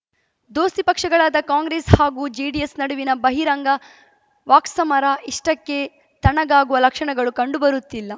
ದೋಸ್ತಿ ಪಕ್ಷಗಳಾದ ಕಾಂಗ್ರೆಸ್‌ ಹಾಗೂ ಜೆಡಿಎಸ್‌ ನಡುವಿನ ಬಹಿರಂಗ ವಾಕ್ಸಮರ ಇಷ್ಟಕ್ಕೇ ತಣ್ಣಗಾಗುವ ಲಕ್ಷಣಗಳು ಕಂಡುಬರುತ್ತಿಲ್ಲ